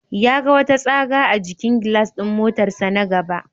Ya ga wata tsaga a jikin gilas ɗin motarsa na gaba.